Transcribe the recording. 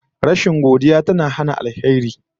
Rashin godiya tana hana alheri